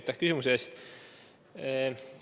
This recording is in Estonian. Aitäh küsimuse eest!